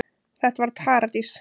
Þetta var paradís.